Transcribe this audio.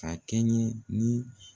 Ka kɛɲɛ ni